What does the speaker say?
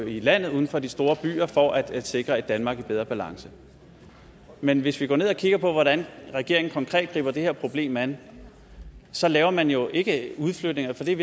i landet uden for de store byer for at sikre et danmark i bedre balance men hvis vi går ned og kigger på hvordan regeringen konkret griber det her problem an så laver man jo ikke udflytninger for det er